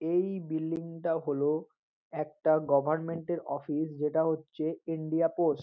এই বিল্ডিং টা হল একটা গভর্নমেন্ট এর অফিস যেটা হচ্ছে ইন্ডিয়া পোস্ট ।